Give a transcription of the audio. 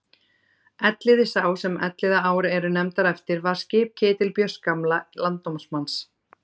Elliði sá sem Elliðaár eru nefndar eftir var skip Ketilbjörns gamla landnámsmanns.